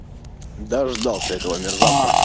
дождался этого мерзавца